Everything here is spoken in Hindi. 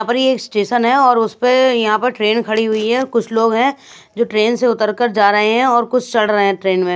अपर एक स्टेशन है और उसपे यहां पर ट्रेन खड़ी हुई है कुछ लोग हैं जो ट्रेन से उतरकर जा रहे हैं और कुछ चढ़ रहे हैं ट्रेन में--